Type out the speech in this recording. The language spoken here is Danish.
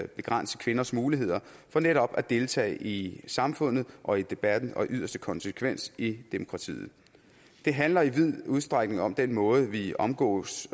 begrænse kvinders muligheder for netop at deltage i samfundet og i debatten og i yderste konsekvens i demokratiet det handler i vid udstrækning om den måde vi omgås